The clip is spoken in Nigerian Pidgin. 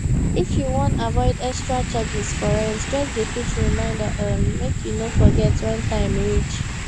if you wan avoid extra charges for rent just dey put reminder um make you no forget when time reach